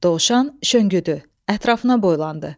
Dovşan şönküdü, ətrafına boylandı.